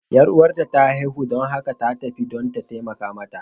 Yar uwarta ta haihu, don haka ta tafi don ta taimaka mata.